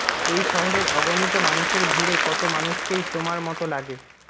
এই শহরের অগণিত মানুষের ভিড়ে কত মানুষকেই তোমার মত লাগে